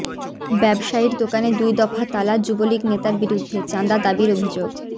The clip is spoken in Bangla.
ব্যবসায়ীর দোকানে দুই দফা তালা যুবলীগ নেতার বিরুদ্ধে চাঁদা দাবির অভিযোগ